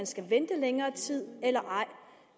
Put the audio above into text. skal vente længere tid eller ej